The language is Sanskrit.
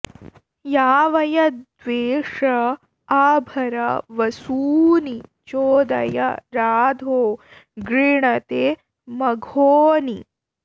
यावय द्वेष आ भरा वसूनि चोदय राधो गृणते मघोनि